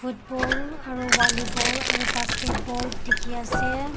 eto aro volleyball aro basketball teki ase.